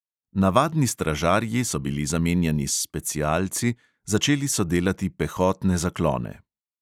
Navadni stražarji so bili zamenjani s specialci, začeli so delati pehotne zaklone.